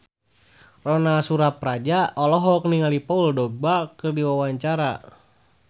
Ronal Surapradja olohok ningali Paul Dogba keur diwawancara